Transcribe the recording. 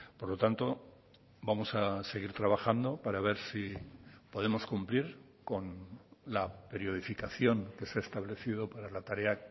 por lo tanto vamos a seguir trabajando para ver si podemos cumplir con la periodificación que se ha establecido para la tarea